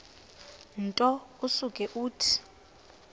nto usuke uthi